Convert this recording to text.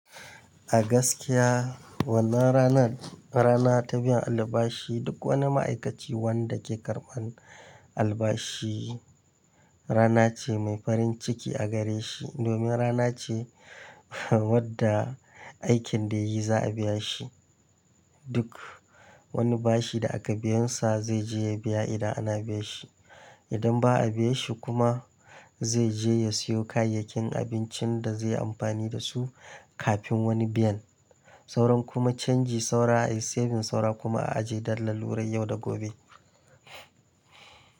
A gaskiya wannan rana rana ta biyan albashi duk wani ma'aikaci wanda ke karban albashi rana ce mai farin ciki a gare shi. Domin rana ce wadda aikin da yayi za a biya shi. Duk wani bashi da aka biyan sa zai je ya biya idan ana biya shi. Idan ba a biya shi kuma zai je ya siyo kayayyakin abincin da zai yi amfani da su kafin wani biyan. Sauran kuma canji saura a yi saving saura kuma a ajiye dallal wurai yau da gobe.